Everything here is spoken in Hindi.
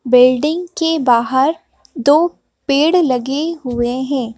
बिल्डिंग के बाहर दो पेड़ लगे हुए हैं।